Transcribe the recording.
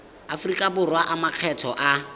aforika borwa a makgetho a